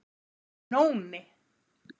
Nóni